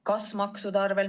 Kas maksude arvel?